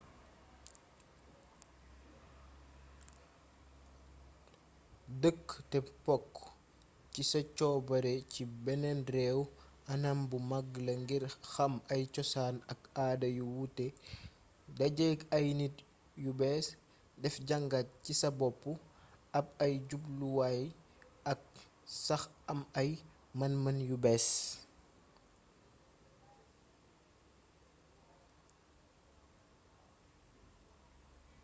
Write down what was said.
dëkk te bokk ci sa coobare ci beneen réew anam bu mag la ngir xam ay cosaan ak aada yu wuute dajeek ay nit yu bees def jàngat ci sa bopp ab ay jubluwaay ak sax am ay man-man yu bees